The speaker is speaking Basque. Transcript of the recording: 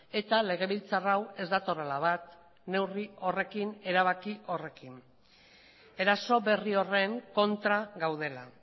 eta legebiltzar hau ez datorrela bat neurri horrekin erabaki horrekin eraso berri horren kontra gaudela